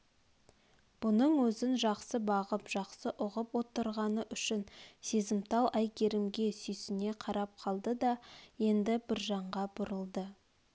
бұның өзін жақсы бағып жақсы ұғып отырғаны үшін сезімтал әйгерімге сүйсіне қарап қалды да енді біржанға бұрылды